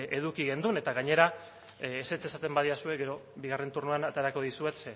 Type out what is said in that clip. eduki genuen tta gainera ezetz esaten badidazue gero bigarren txandan aterako dizuet